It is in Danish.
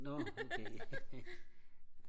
nå okay